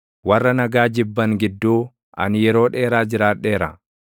Warra nagaa jibban gidduu, ani yeroo dheeraa jiraadheera.